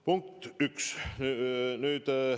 Punkt üks.